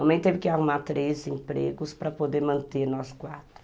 A mãe teve que arrumar três empregos para poder manter nós quatro.